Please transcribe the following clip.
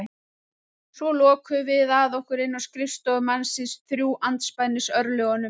Svo lokuðum við að okkur inni á skrifstofu mannsins, þrjú andspænis örlögunum.